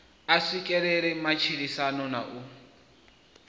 a swikelele matshilisano na u